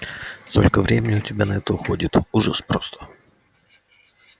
столько времени у тебя на это уходит ужас просто